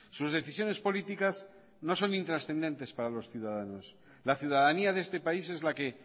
sus decisiones políticas no son intrascendentes para los ciudadanos la ciudadanía de este país es la que